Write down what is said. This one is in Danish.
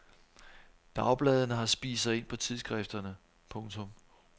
Dagbladene har spist sig ind på tidsskrifterne. punktum